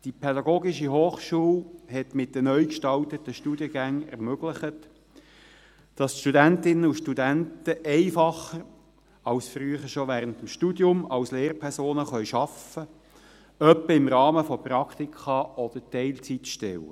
– Die PH hat mit den neu gestalteten Studiengängen ermöglicht, dass die Studentinnen und Studenten einfacher als früher schon während des Studiums als Lehrpersonen arbeiten können, etwa im Rahmen von Praktika oder Teilzeitstellen.